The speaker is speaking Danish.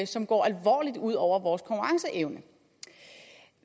som går alvorligt ud over vores konkurrenceevne